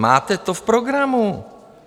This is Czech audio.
Máte to v programu.